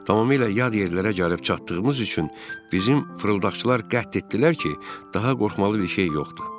Tamamilə yad yerlərə gəlib çatdığımız üçün bizim fırıldaqçılar qət etdilər ki, daha qorxmalı bir şey yoxdu.